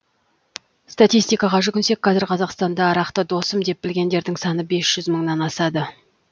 статистикаға жүгінсек қазір қазақстанда арақты досым деп білгендердің саны бес жүз мыңнан асады